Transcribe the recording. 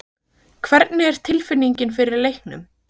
Hvernig er tilfinningin fyrir leiknum?